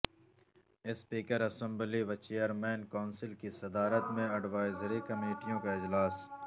speaker assembly و chairman council کی صدارت میں اڈوائزری کمیٹیوں کا اجلاس